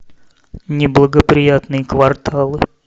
неблагоприятные кварталы